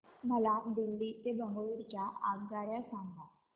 मला दिल्ली ते बंगळूरू च्या आगगाडया सांगा